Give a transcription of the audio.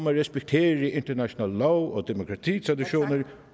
at respektere international lov og demokratitraditioner